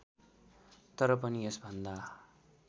तर पनि यसभन्दा